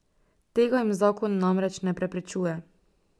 Tega jim zakon namreč ne preprečuje.